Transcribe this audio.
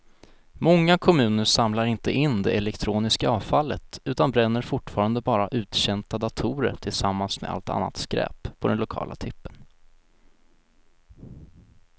Många kommuner samlar inte in det elektroniska avfallet utan bränner fortfarande bara uttjänta datorer tillsammans med allt annat skräp på den lokala tippen.